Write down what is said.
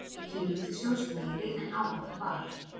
Tekjur ríkissjóðs meiri en áætlað var